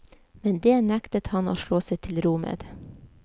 Men dét nektet han å slå seg til ro med.